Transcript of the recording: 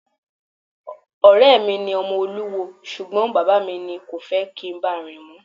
Ọ̀rẹ́ mi ni ọmọ olúwo ṣùgbọ́n bàbá mi kò fẹ́ kí n báà rìn mọ́.